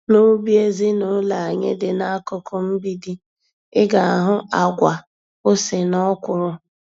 N'ubi ezinụlọ anyị dị n'akụkụ mgbidi, ị ga-ahụ àgwà, ose na Ọkwụrụ.